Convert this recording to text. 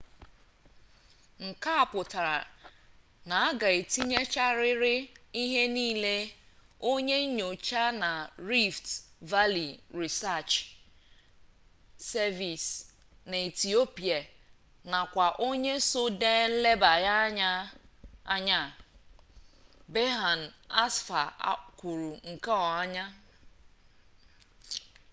nke a pụtara na a ga-etighachirịrị ihe niile onye nyocha na rift valley research service na ethiopia nakwa onye so dee nlebaanya a berhane asfaw kwuru nke a